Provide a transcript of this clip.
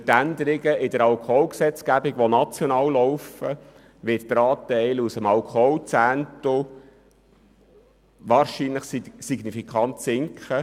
Durch die Änderungen bei der Alkoholgesetzgebung auf nationaler Ebene wird der Anteil aus dem Alkoholzehntel wahrscheinlich signifikant sinken.